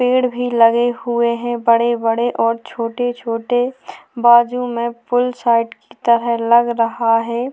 पेड़ भी लगे हुए है बड़े बड़े और छोटे छोटे बाजू में पुल साइड की तरह लग रहा है।